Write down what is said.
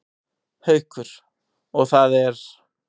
Haukur: Og það er?